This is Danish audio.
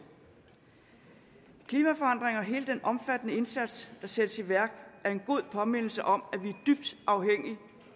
klimaforandringer og hele den omfattende indsats der sættes i værk er en god påmindelse om